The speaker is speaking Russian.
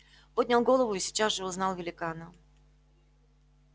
поднял голову и сейчас же узнал великана